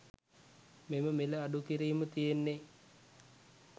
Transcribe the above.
මෙම මිල අඩුකීරිම තියෙන්නේ